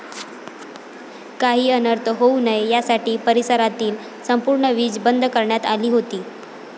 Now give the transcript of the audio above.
काही अनर्थ होऊ नये यासाठी परिसरातील संपूर्ण वीज बंद करण्यात आली होती.